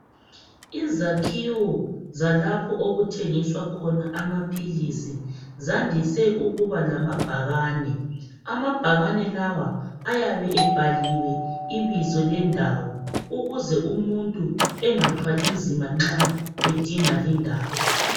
Izakiwo zalapha okuthengiswa khona amaphilisi zandise ukuba lamabhakane amabhakane lawa ayabe ebhaliwe izibo lendawo ukuze umuntu engathwali nzima nxa edinga lindawo